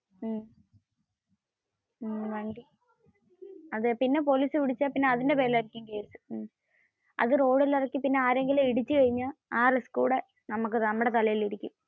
പിന്നെ പോലീസ് പിടിച്ചാൽ പിന്നെ അതിന്റെ പേരിൽ ആയിരിക്കും കേസ്. അത് റോഡിൽ ഇറക്കി പിന്നെ ആരെയെങ്കിലും ഇടിച്ചു കഴിഞ്ഞ ആ റിസ്‌കുംകൂടി നമ്മുടെ തലയിൽ ഇരിക്കും.